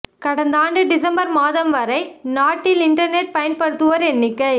கடந்த ஆண்டு டிசம்பர் மாதம் வரை நாட்டில் இன்டர்நெட் பயன்படுத்துவோர் எண்ணிக்கை